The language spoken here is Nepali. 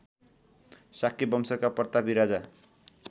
शाक्यवंशका प्रतापी राजा